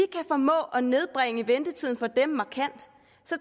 formå at nedbringe ventetiden for dem markant